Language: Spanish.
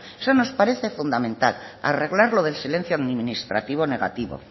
eso nos parece fundamental arreglar lo del silencio administrativo negativo